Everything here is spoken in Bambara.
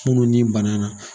Minnu ni banna na.